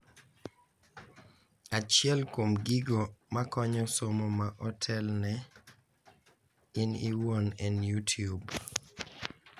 Achiel kuom gigo makonyo somo ma otelne in iwuon en YouTube,